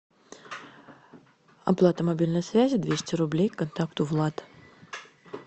оплата мобильной связи двести рублей контакту влад